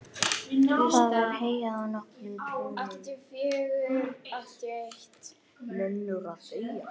Það var heyjað á nokkrum túnum.